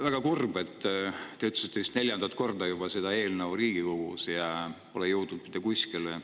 Väga kurb on see, mis te ütlesite, et vist neljandat korda juba on see eelnõu Riigikogus ja pole mitte kuskile jõudnud.